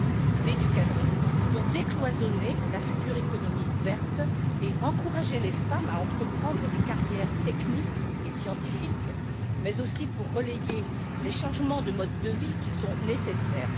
Troisièmement, des mesures d'éducation pour décloisonner la future économie verte et encourager les femmes à entreprendre des carrières techniques et scientifiques mais aussi pour relayer les changements de modes de vie qui sont nécessaires.